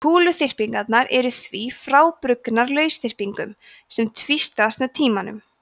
kúluþyrpingarnar eru því frábrugðnar lausþyrpingum sem tvístrast með tímanum